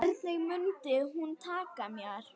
Hvernig mundi hún taka mér?